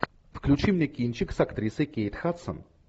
включи мне кинчик с актрисой кейт хадсон